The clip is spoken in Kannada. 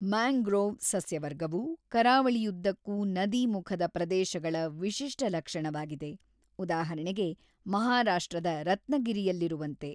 ಮ್ಯಾಂಗ್ರೋವ್ ಸಸ್ಯವರ್ಗವು ಕರಾವಳಿಯುದ್ದಕ್ಕೂ ನದೀಮುಖದ ಪ್ರದೇಶಗಳ ವಿಶಿಷ್ಟ ಲಕ್ಷಣವಾಗಿದೆ, ಉದಾಹರಣೆಗೆ, ಮಹಾರಾಷ್ಟ್ರದ ರತ್ನಗಿರಿಯಲ್ಲಿರುವಂತೆ.